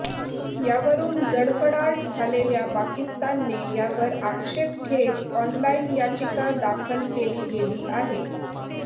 यावरून जळफळाट झालेल्या पाकिस्तानने यावर आक्षेप घेत ऑनलाईन याचिका दाखल केली गेली आहे